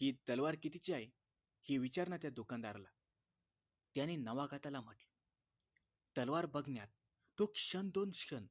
हि तलवार कितीची आहे हे विचार ना त्या दुकानदाराला त्याने नवागताला म्हटलं तलवार बघण्यात तो क्षण दोन क्षण